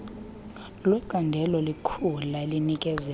lwecandelo lekhula elinikezela